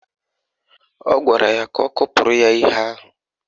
Ọ gwara ya ka ọ kụpụrụ ya ihe ahụ